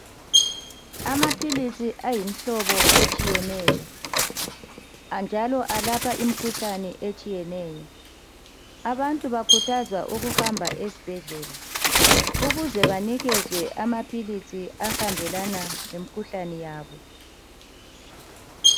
Amaphilisi ayimhlobo etshiyeneyo anjalo alapha imkhuhlane etshiyeneyo abantu bakhuthazwa ukuhamba esibhedlela ukuze banikezwe amaphilisi ahambelana lemikhuhlani yabo.